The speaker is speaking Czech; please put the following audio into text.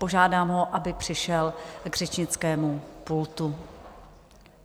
Požádám ho, aby přišel k řečnickému pultu.